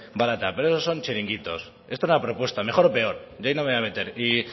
barata pero esos son chiringuitos esto es una propuesta mejor o peor yo ahí no me voy a meter y